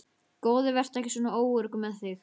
Góði, vertu ekki svona óöruggur með þig.